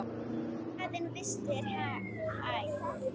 Hlaðinn vistum er hann æ.